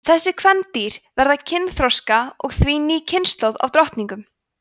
þessi kvendýr verða kynþroska og því ný kynslóð af drottningum